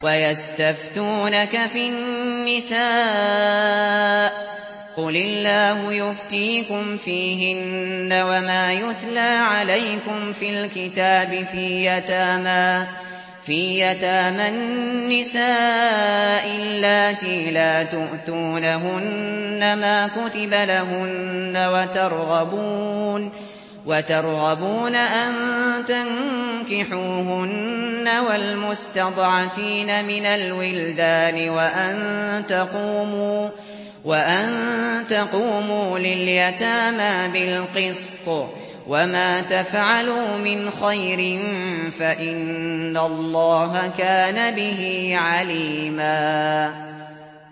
وَيَسْتَفْتُونَكَ فِي النِّسَاءِ ۖ قُلِ اللَّهُ يُفْتِيكُمْ فِيهِنَّ وَمَا يُتْلَىٰ عَلَيْكُمْ فِي الْكِتَابِ فِي يَتَامَى النِّسَاءِ اللَّاتِي لَا تُؤْتُونَهُنَّ مَا كُتِبَ لَهُنَّ وَتَرْغَبُونَ أَن تَنكِحُوهُنَّ وَالْمُسْتَضْعَفِينَ مِنَ الْوِلْدَانِ وَأَن تَقُومُوا لِلْيَتَامَىٰ بِالْقِسْطِ ۚ وَمَا تَفْعَلُوا مِنْ خَيْرٍ فَإِنَّ اللَّهَ كَانَ بِهِ عَلِيمًا